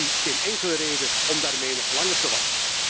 Ik zie geen enkele reden om daarmee nog langer te wachten.